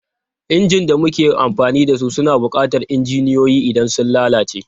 Injin da muke amfani da su suna buƙatar injiniyoyi idan sun lalace.